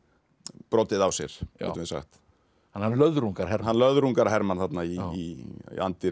brotið á sér getum við sagt hann löðrungar Hermann hann löðrungar Hermann þarna í anddyri